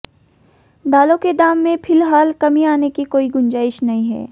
दालोें के दाम में फिलहाल कमी आने की कोई गुंजाइश नहीं है